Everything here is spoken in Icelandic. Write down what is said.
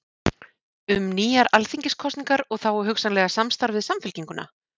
Um nýjar alþingiskosningar og þá hugsanlega samstarf við Samfylkinguna?